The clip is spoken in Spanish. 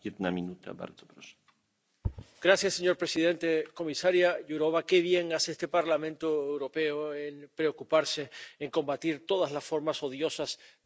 Señor presidente, comisaria Jourová, qué bien hace este Parlamento Europeo en preocuparse en combatir todas las formas odiosas de discriminación contra minorías vulnerables.